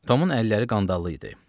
Tomun əlləri qandallı idi.